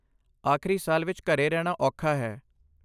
ਆਖਰੀ ਸਾਲ ਵਿੱਚ ਘਰੇ ਰਹਿਣਾ ਔਖਾ ਹੈ।